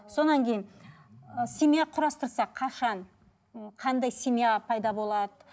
содан кейін ы семья құрастырса қашан ы қандай семья пайда болады